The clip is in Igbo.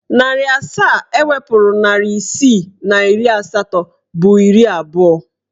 Narị asaa ewepuru narị isii na iri asatọ bụ iri abụọ.